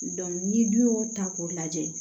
ni dun y'o ta k'o lajɛ